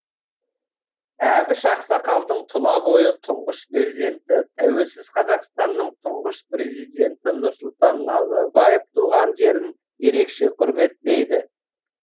әбіш ақсақалдың тұла бойы тұңғыш перзенті тәуелсіз қазақстанның тұңғыш президенті нұрсұлтан назарбаев туған жерін ерекше құрметтейді